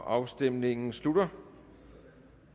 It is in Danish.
afstemningen slutter